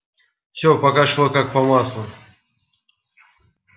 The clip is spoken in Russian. всё пока шло как по маслу